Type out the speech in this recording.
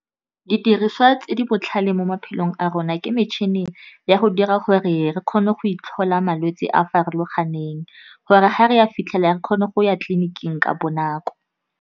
Didiriswa tse di botlhale mo maphelong a rona, ke metšhine ya go dira gore re kgone go itlhola malwetse a a farologaneng gore ga re a fitlhela re kgone go ya tleliniking ka bonako.